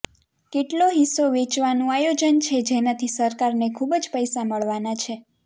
કેટલો હિસ્સો વેચવાનું આયોજન છે જેનાથી સરકાર ને ખુબજ પૈસા મળવાના છે